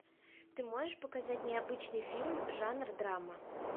ты можешь показать необычный фильм жанр драма